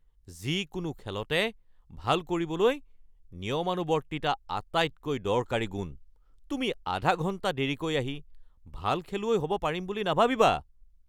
যিকোনো খেলতে ভাল কৰিবলৈ নিয়মানুৱৰ্তিতা আটাইতকৈ দৰকাৰী গুণ। তুমি আধা ঘণ্টা দেৰীকৈ আহি ভাল খেলুৱৈ হ'ব পাৰিম বুলি নাভাবিবা।